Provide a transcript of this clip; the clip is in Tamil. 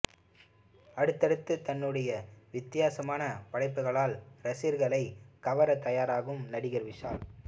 அடுத்தடுத்து தன்னுடைய வித்தியாசமான படைப்புகளால் ரசிகர்களை கவர தயாராகும் நடிகர் விஷால்